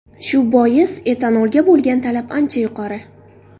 Shu bois, etanolga bo‘lgan talab ancha yuqori.